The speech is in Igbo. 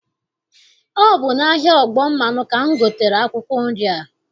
Ọ bụ n'ahịa ọgbọmmanụ ka m gotere akwụkwọ nri a.